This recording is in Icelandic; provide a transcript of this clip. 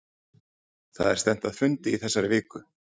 Það er stefnt að fundi í þessari viku.